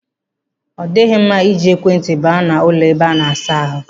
Ọ dịghị mma i ji ekwe ntị baa n'ụlọ ebe a na-asa ahụ.